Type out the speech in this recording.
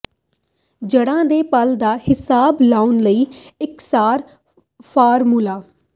ਜੜ੍ਹਾਂ ਦੇ ਪਲ ਦਾ ਹਿਸਾਬ ਲਾਉਣ ਲਈ ਇਕਸਾਰ ਫਾਰਮੂਲਾ